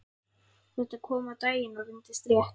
Þetta kom á daginn og reyndist rétt.